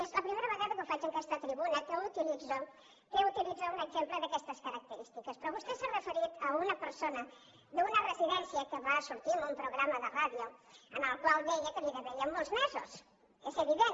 és la primera vegada que ho faig en aquesta tribuna que utilitzo un exemple d’aquestes característiques però vostè s’ha referit a una persona d’una residència que va sortir en un programa de ràdio en el qual deia que li devíem molts mesos és evident